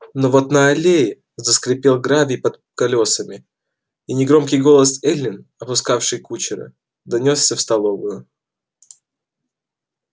но вот на аллее заскрипел гравий под колёсами и негромкий голос эллин отпускавшей кучера донёсся в столовую